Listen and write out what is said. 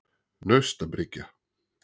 Naustabryggju